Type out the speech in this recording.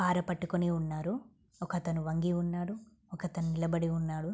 పారపట్టుకొని ఉన్నారు ఒకతను వంగి ఉన్నాడు ఒకతను నిలబడి ఉన్నాడు.